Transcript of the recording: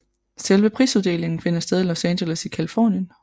Selve prisuddelingen finder sted i Los Angeles i Californien